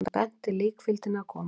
Hann benti líkfylgdinni að koma.